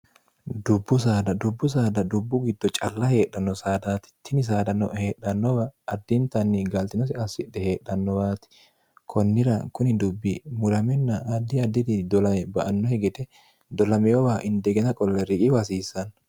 dubbu sad dubbu saada dubbu giddo calla heedhanno saadaati tini saada no heedhannowa addiintanni galxinosi assidhe heedhannowaati konnira kuni dubbi muraminna addi addiri dolae ba anno higite dolameowa indegena qolle riqi wahasiissanno